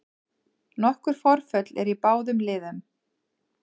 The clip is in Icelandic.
Nokkur forföll eru í báðum liðum